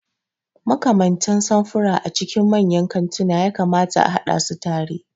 Makamantan samfura a cikin manyan kantuna ya kamata a haɗa su tare.